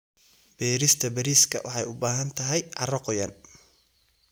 Beerista bariiska waxay u baahan tahay carro qoyan.